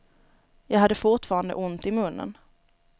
Jag hade fortfarande ont i munnen.